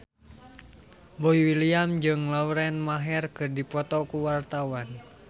Boy William jeung Lauren Maher keur dipoto ku wartawan